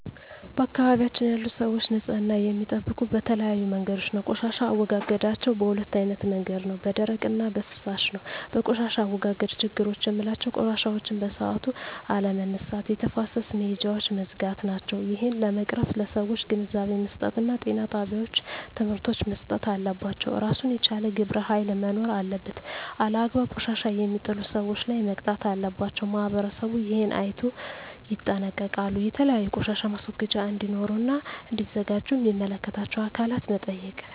በአካባቢያችን ያሉ ሰዎች ንፅህና የሚጠብቁ በተለያዩ መንገዶች ነው ቆሻሻ አወጋገዳቸዉ በ2አይነት መንገድ ነው በደረቅ እና በፍሳሽ ነው በቆሻሻ አወጋገድ ችግሮች ምላቸው ቆሻሻዎችን በሠአቱ አለመነሳት የተፋሰስ መሄጃውች መዝጋት ናቸው እሄን ለመቅረፍ ለሠዎች ግንዛቤ መስጠት እና ጤና ጣቤዎች ትምህርቶች መሰጠት አለባቸው እራሱን የቻለ ግብረ ሀይል መኖር አለበት አላግባብ ቆሻሻ የሜጥሉ ሠዎች ላይ መቅጣት አለባቸው ማህበረሠቡ እሄን አይነቶ ይጠነቀቃሉ የተለያዩ ቆሻሻ ማስወገጃ እዴኖሩ እና እዲዘጋጁ ሚመለከታቸው አካላት መጠየቅ